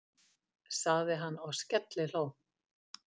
sagði hann og skellihló.